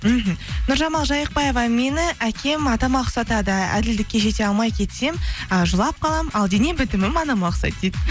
мхм нұржамал жайықбаева мені әкем атама ұқсатады әділдікке жете алмай кетсем э жылап қалам ал дене бітімін анама ұқсайды дейді